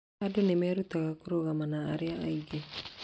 Andũ nĩ mareruta kũrũgama na arĩa angĩ.